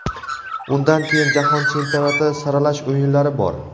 undan keyin Jahon chempionati saralash o‘yinlari bor.